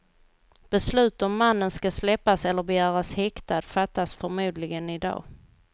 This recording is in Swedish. Beslut om mannen ska släppas eller begäras häktad fattas förmodligen i dag.